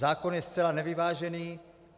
Zákon je zcela nevyvážený.